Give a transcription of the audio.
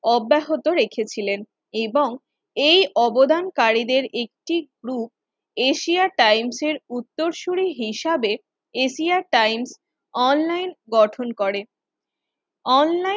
অব্যাহত রেখেছিলেন, এবং এই অবদানকারীদের একটি গ্রুপ এশিয়া টাইমসের উত্তরসরি হিসাবে এশিয়া টাইমস অনলাইন গঠন করেন অনলাইন